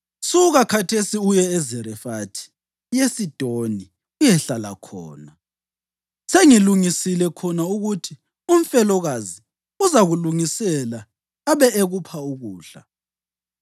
“Suka khathesi uye eZarefathi yeSidoni uyehlala khona. Sengilungisile khona ukuthi umfelokazi uzakulungisela abe ekupha ukudla.”